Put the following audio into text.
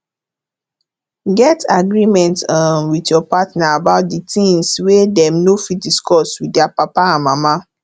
get agreement um with your partner about di things wey dem no fit discuss with their papa and mama